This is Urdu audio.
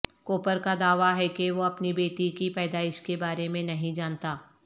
کوپر کا دعوی ہے کہ وہ اپنی بیٹی کی پیدائش کے بارے میں نہیں جانتا